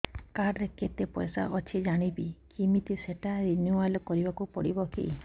card ରେ କେତେ ପଇସା ଅଛି ଜାଣିବି କିମିତି ସେଟା ରିନୁଆଲ କରିବାକୁ ପଡ଼ିବ କି